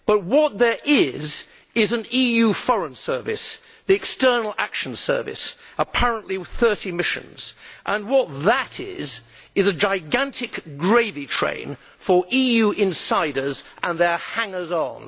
What there is, is an EU Foreign Service the External Action Service apparently with 30 missions, and what that is, is a gigantic gravy train for EU insiders and their hangers on.